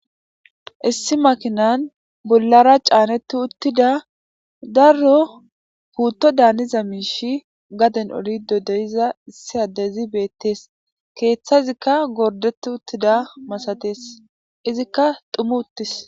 Issi makinan bolara caneti utida daro puto daniza miishshi gaden olido deiza issi addezi betes keeththazika gorideti utidayisa masates izika dhumi utis.